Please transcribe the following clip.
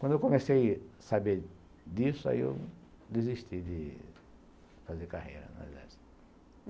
Quando eu comecei a saber disso, aí eu desisti de fazer carreira no exército.